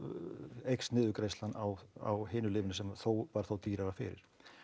eykst niðurgreiðslan á á hinu lyfinu sem þó var þó dýrara fyrir